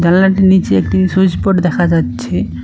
জালনাটির নীচে একটি switch board দেখা যাচ্ছে।